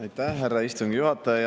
Aitäh, härra istungi juhataja!